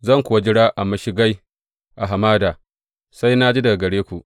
Zan kuwa jira a mashigai a hamada, sai na ji daga gare ku.